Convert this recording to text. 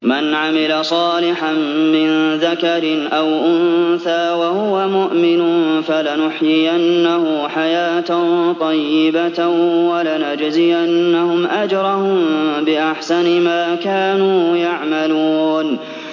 مَنْ عَمِلَ صَالِحًا مِّن ذَكَرٍ أَوْ أُنثَىٰ وَهُوَ مُؤْمِنٌ فَلَنُحْيِيَنَّهُ حَيَاةً طَيِّبَةً ۖ وَلَنَجْزِيَنَّهُمْ أَجْرَهُم بِأَحْسَنِ مَا كَانُوا يَعْمَلُونَ